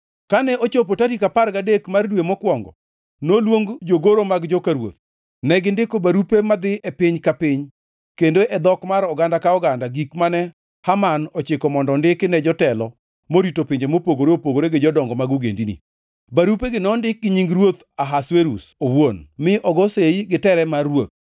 Kane ochopo tarik apar gadek mar dwe mokwongo, noluong jogoro mag joka ruoth. Negindiko barupe madhi e piny ka piny kendo e dhok mar oganda ka oganda gik mane Haman ochiko mondo ondiki ne jotelo morito pinje mopogore opogore gi jodongo mag ogendini. Barupegi nondik gi nying ruoth Ahasuerus owuon mi ogo sei gi tere mar ruoth.